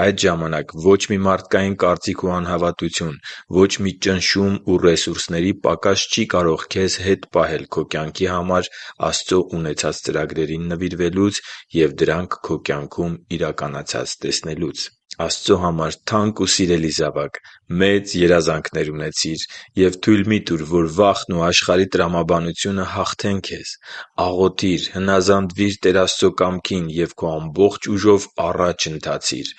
Այդ ժամանակ ոչ մի մարդկային կարծիք ու անհավատություն, ոչ մի ճնշում ու ռեսուրսների պակաս չի կարող քեզ հետ պահել քո կյանքի համար Աստծո ունեցած ծրագրերին նվիրվելուց և դրանք քո կյանքում իրականացած տեսնելուց։ Աստծո համար թանկ ու սիրելի՛ զավակ, մեծ երազանքներ ունեցի՛ր և թույլ մի՛ տուր, որ վախն ու աշխարհի տրամաբանությունը հաղթեն քեզ։ Աղոթի՛ր, հնազանդվի՛ր Տեր Աստծո կամքին և քո ամբողջ ուժով առաջ ընթացի՛ր: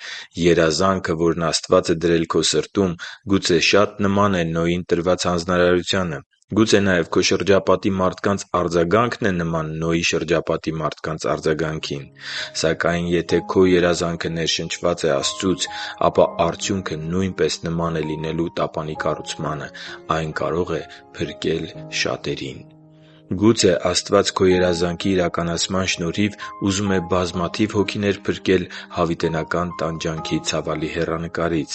Երազանքը, որն Աստված է դրել քո սրտում, գուցե շատ նման է Նոյին տրված հանձնարարությանը։ Գուցե նաև քո շրջապատի մարդկանց արձագանքն է նման Նոյի շրջապատի մարդկանց արձագանքին։ Սակայն եթե քո երազանքը ներշնչված է Աստծուց, ապա արդյունքը նույնպես նման է լինելու տապանի կառուցմանը՝ այն կարող է փրկել շատերին: Գուցե Աստված քո երազանքի իրականացման շնորհիվ ուզում է բազմաթիվ հոգիներ փրկել հավիտենական տանջանքի ցավալի հեռանկարից: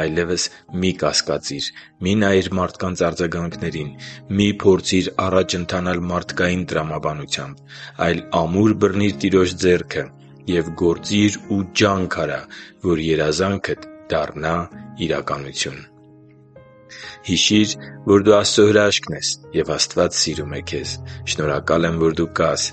Այլևս մի՛ կասկածիր։ Մի՛ նայիր մարդկանց արձագանքներին։ Մի՛ փորձիր առաջ ընթանալ մարդկային տրամաբանությամբ։ Այլ ամուր բռնի՛ր Տիրոջ ձեռքը և գործի՛ր ու ջա՛նք արա, որ երազանքդ դառնա իրականություն: Հիշի՛ր, որ դու Աստծո հրաշքն ես, և Աստված սիրում է քեզ։ Շնորհակալ եմ, որ դու կա՛ս